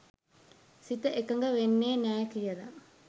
සිත එකඟ වෙන්නෙ නෑ කියල